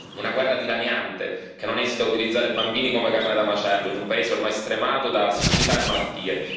Una guerra dilaniante che non esita a utilizzare bambini come carne da macello, in un paese ormai stremato da siccità e malattie.